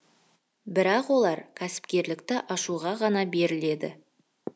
бірақ олар кәсіпкерлікті ашуға ғана беріледі